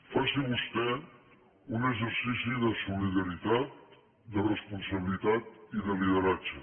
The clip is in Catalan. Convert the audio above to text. faci vostè un exercici de solidaritat de responsabilitat i de lideratge